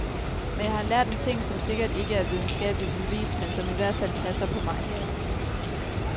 Men jeg har lært en ting, som sikkert ikke er videnskabeligt bevist, men som i hvert fald passer på mig.